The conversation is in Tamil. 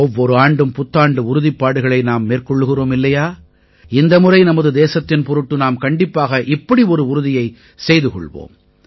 ஒவ்வொரு ஆண்டும் புத்தாண்டு உறுதிப்பாடுகளை நாம் மேற்கொள்கிறோம் இல்லையா இந்த முறை நமது தேசத்தின் பொருட்டு நாம் கண்டிப்பாக இப்படி ஒரு உறுதியைச் செய்து கொள்வோம்